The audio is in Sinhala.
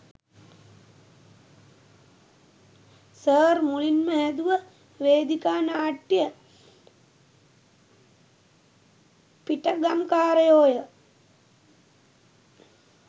සර් මුලින්ම හැදුව වේදිකා නාට්‍යය පිටගම්කාරයෝ ය.